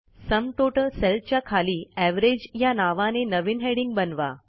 sum total सेलच्या खाली average या नावाने नवीन हेडिंग बनवा